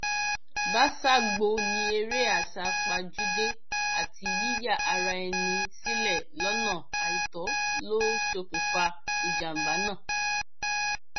báṣágbó ní eré àsápajúdé àti yíya ara ẹni sílẹ lọnà àìtọ ló ṣokùnfà ìjàmbá náà